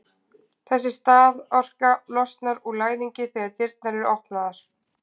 Þessi staðorka losnar úr læðingi þegar dyrnar eru opnaðar.